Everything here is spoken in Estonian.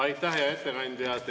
Aitäh, hea ettekandja!